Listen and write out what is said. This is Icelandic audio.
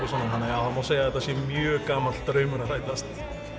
svona þannig að það má segja að þetta sé mjög gamall draumur að rætast